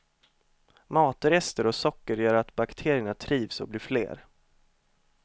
Matrester och socker gör att bakterierna trivs och blir fler.